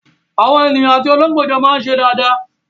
Àwọn ènìyàn àti olóńgbò jọ máa ń ṣe dáadáa.